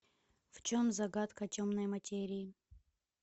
в чем загадка темной материи